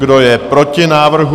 Kdo je proti návrhu?